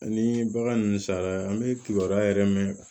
Ani bagan ninnu sala an bɛ kibaruya yɛrɛ mɛn